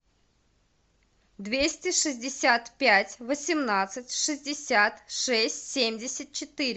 двести шестьдесят пять восемнадцать шестьдесят шесть семьдесят четыре